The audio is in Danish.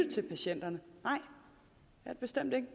til patienterne hvis man